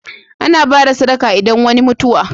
Ana bada sadaka idan wani mutuwa